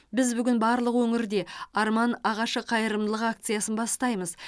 біз бүгін барлық өңірде арман ағашы қайырымдылық акциясын бастаймыз